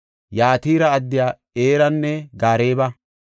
Yatira addiya Iranne Gareeba,